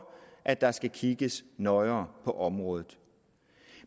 at der skal kigges nøjere på området